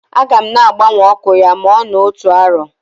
Aga m na-agbanwe ọkụ ya ma ọ nọọ otu arọ.